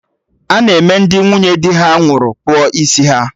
Ana eme Ndị nwunye dị ha nwụrụ kpụọ isi ha